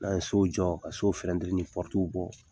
N'a ye sow jɔ ka sow finɛtiri ni bɔ